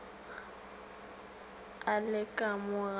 a le ka mo ga